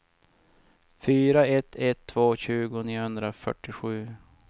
fyra ett ett två tjugo niohundrafyrtiosju